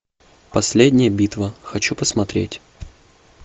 последняя битва хочу посмотреть